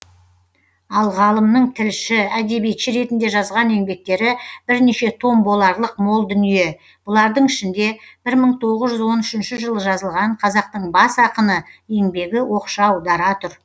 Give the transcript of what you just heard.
ал ғалымның тілші әдебиетші ретінде жазған еңбектері бірнеше том боларлық мол дүние бұлардың ішінде бір мың тоғыз жүз он үшінші жылы жазылған қазақтың бас ақыны еңбегі оқшау дара тұр